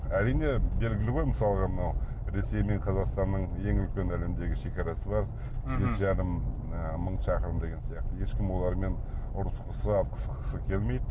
әрине белгілі ғой мысалға енді мынау ресей мен қазақстанның ең үлкен әлемдегі шегарасы бар жеті жарым мың шақырым деген сияқты ешкім олармен ұрысқысы атысқысы келмейді